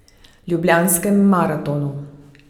Ljubljanskem maratonu.